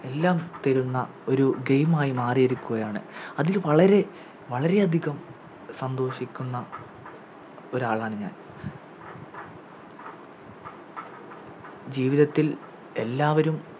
എല്ലാം തരുന്ന ഒരു Game ആയി മാറിയിരിക്കുകയാണ് അതിൽ വളരെ വളരെയധികം സന്തോഷിക്കുന്ന ഒരാളാണ് ഞാൻ ജീവിതത്തിൽ എല്ലാവരും